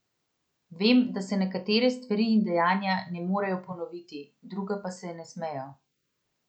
Vem, da se nekatere stvari in dejanja ne morejo ponoviti, druga pa se ne smejo.